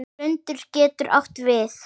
Lundur getur átt við